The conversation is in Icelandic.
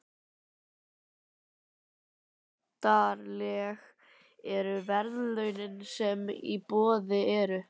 En hversu myndarleg eru verðlaunin sem í boði eru?